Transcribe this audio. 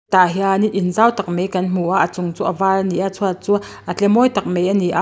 tah hian in zau tak mai kan hmu a a chung chu a var ani a chhuat chu a tle mawi tak mai ani a.